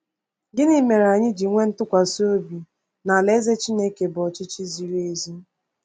Gịnị mere anyị ji nwee ntụkwasị obi na Alaeze Chineke bụ ọchịchị ziri ezi?